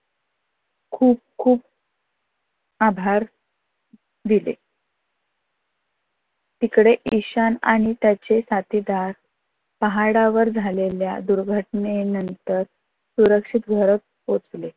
खूप खूप आभार दिले. इकडे ईशान आणि त्याचे साथीदार पाहाडावर झालेल्या दुर्घटनेनंतर सुरक्षित घरत पोहचले.